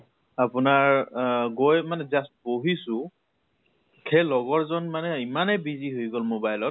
আপোনাৰ আহ গৈ মানে just বহিছো, সেই লগৰ জন মানে ইমানে busy হৈ গʼল mobile ত